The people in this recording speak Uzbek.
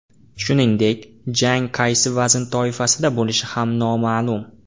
Shuningdek, jang qaysi vazn toifasida bo‘lishi ham noma’lum.